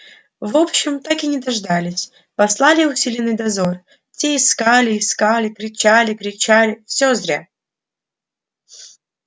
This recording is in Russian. в общем так и не дождались послали усиленный дозор те искали искали кричали кричали всё зря